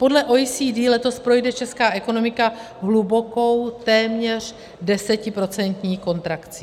Podle OECD letos projde česká ekonomika hlubokou, téměř desetiprocentní kontrakcí.